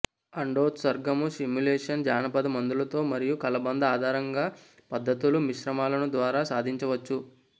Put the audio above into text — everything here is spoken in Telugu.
అండోత్సర్గము స్టిమ్యులేషన్ జానపద మందులలో మరియు కలబంద ఆధారంగా పద్ధతులు మిశ్రమాలను ద్వారా సాధించవచ్చు